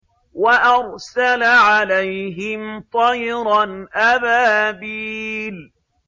وَأَرْسَلَ عَلَيْهِمْ طَيْرًا أَبَابِيلَ